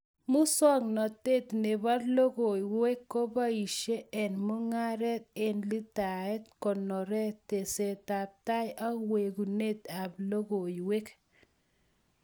Musong'natet nebo logoiywekkoboishe eng mung'aret eng leitaet, konoret, tesetab tai ak wekunet ab logoiywek